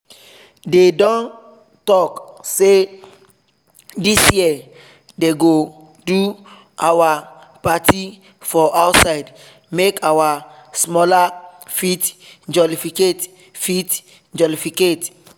they don talk say this year they go do our party for outside make our smalla fit jolificate fit jolificate